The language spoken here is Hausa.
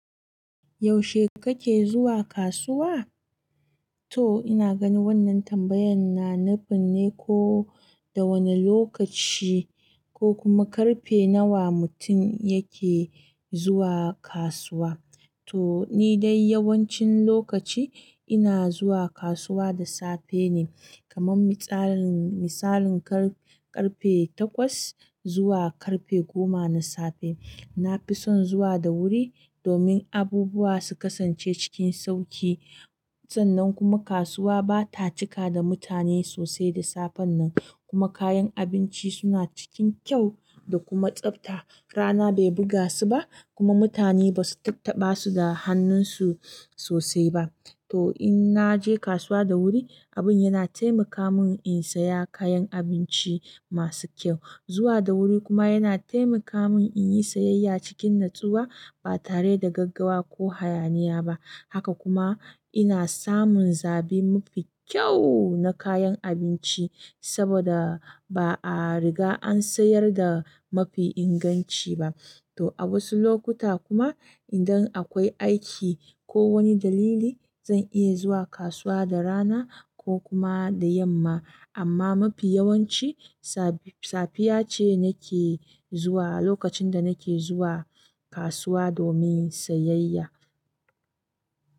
Yaushe kake zuwa kasuwa? To ina gani wannan tambayan na na nufinne ko da wani lokaci ko kuma karfe nawa mutun yake zuwa kasuwa. To ni dai yawancin lokaci ina zuwa kasuwa da safe ne. Kaman mitsalin, misalin kar ƙarfe takwas zuwa karfe goma na safe. Nafi son zuwa da wuri domin abubuwa su kasance cikin sauki sannan kuma kasuwa ba ta cika da mutane sosai da safen nan. Kuma kayan abinci suna cikin kyau da kuma tsabta. Rana bai buga su ba kuma mutane ba su tattaɓa su da hannun su sosai ba. To in na je kasuwa da wuri, abun yana taimaka mun in saya kayan abinci masu kyau. Zuwa da wuri kuma yana taimaka mun in yi sayayya cikin natsuwa ba tare da gaggawa ko hayaniya ba. Haka kuma ina samun zabi mafi kyau na kayan abinci saboda ba a riga an sayar da mafi inganci ba. To a wasu lokuta kuma idan akwai aiki ko wani dalili, zan iya zuwa kasuwa da rana ko kuma da yamma. Amma mafi yawanci safiya ce nake zuwa lokacin da nake zuwa kasuwa domin sayayya.